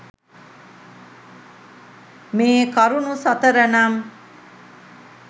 මේකරුණු සතර නම්